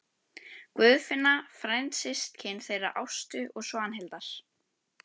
Guðfinna frændsystkin þeirra Ástu og Svanhildar.